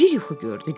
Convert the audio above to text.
Bir yuxu gördü.